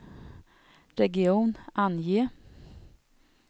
region, ange